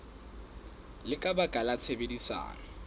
le ka baka la tshebedisano